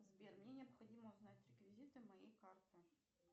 сбер мне необходимо узнать реквизиты моей карты